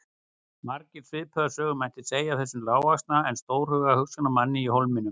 Margar svipaðar sögur mætti segja af þessum lágvaxna en stórhuga hugsjónamanni í Hólminum.